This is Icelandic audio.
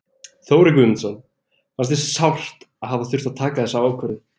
Þórir Guðmundsson: Fannst þér sárt að hafa þurft að taka þessa ákvörðun?